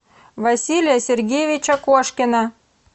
василия сергеевича кошкина